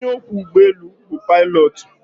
Onye ọkwọ ụgbọelu bu pilotu.